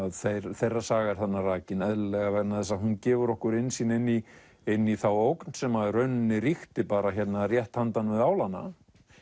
þeirra þeirra saga er þarna rakin eðlilega því hún gefur okkur innsýn inn í inn í þá ógn sem í rauninni ríkti bara hérna rétt handan við álana